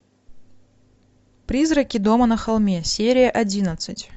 призраки дома на холме серия одиннадцать